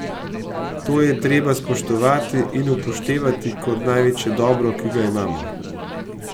To je treba spoštovati in upoštevati kot največje dobro, ki ga imamo.